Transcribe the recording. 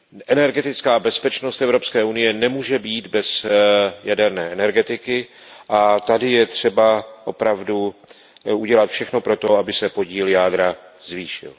Energetická bezpečnost Evropské unie nemůže být bez jaderné energetiky a tady je třeba opravdu udělat všechno pro to, aby se podíl jádra zvýšil.